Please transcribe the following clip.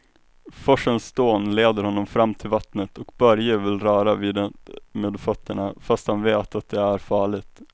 Forsens dån leder honom fram till vattnet och Börje vill röra vid det med fötterna, fast han vet att det är farligt.